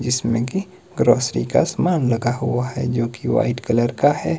इसमें की ग्रोसरी का समान लगा हुआ है जो की वाइट कलर का है।